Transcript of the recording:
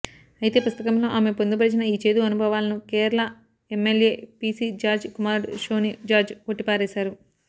అయితే పుస్తకంలో ఆమె పొందుపరిచిన ఈ చేదు అనుభవాలను కేరళ ఎంఎల్ఏ పీసీ జార్జ్ కుమారుడు షోనీ జార్జ్ కొట్టిపారేశారు